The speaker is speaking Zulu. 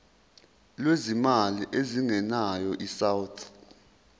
lwezimali ezingenayo isouth